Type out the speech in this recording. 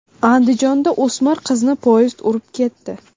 Andijonda o‘smir qizni poyezd urib ketdi.